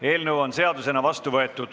Eelnõu on seadusena vastu võetud.